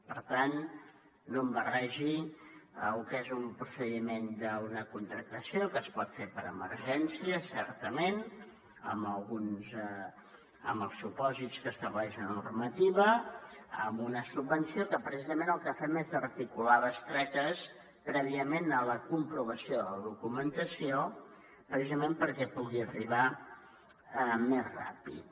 per tant no em barregi lo que és un procediment d’una contractació que es pot fer per emergència certament amb els supòsits que estableix la normativa amb una subvenció que precisament el que fem és articular bestretes prèviament a la comprovació de la documentació perquè pugui arribar més ràpid